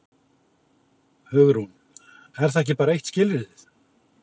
Hugrún: Er það ekki bara eitt skilyrðið?